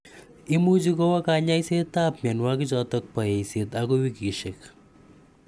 Imuchi kowa kanyaiset ap miawokik choto po eiset akoi wikishek.